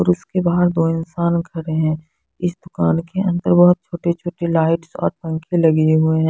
और उस के बाहर दो इंसान खड़े हैं इस दुकान के अंदर बहोत छोटी छोटी लाइट्स और पंखे लगे हुए हैं।